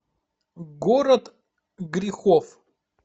город грехов